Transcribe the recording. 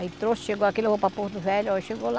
Aí trouxe, chegou aqui, levou para Porto Velho, chegou lá.